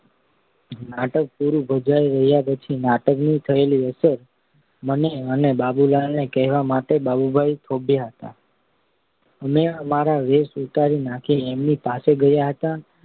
નાટક પૂરું ભજવાઈ રહ્યા પછી નાટકની થયેલી અસર મને અને બાપુલાલને કહેવા માટે બાબુભાઈ થોભ્યા હતા. અમે અમારા વેશ ઉતારી નાખી એમની પાસે ગયા હતા